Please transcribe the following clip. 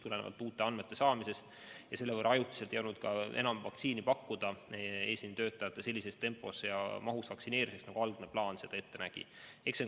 Tulenevalt uute andmete saamisest ei olnud ajutiselt enam vaktsiini pakkuda noorematele eesliinitöötajatele sellises tempos ja mahus, nagu algne plaan ette nägi.